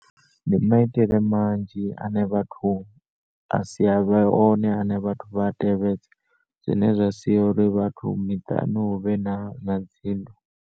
Ndi maitele manzhi ane vhathu a sivhe one ane vhathu vha tevhedze zwine zwasia uri vhathu miṱani huvhe na na dzinndwa.